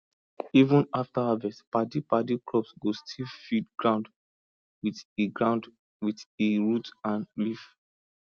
even after harvest padipadi crop go still feed ground with e ground with e root and leaf